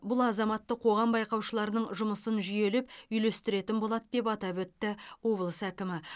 бұл азаматтық қоғам байқаушыларының жұмысын жүйелеп үйлестіретін болады деп атап өтті облыс әкімі